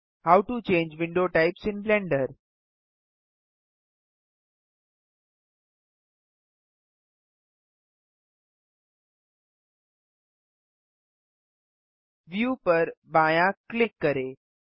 how to change window types in Blender view पर बायाँ click करें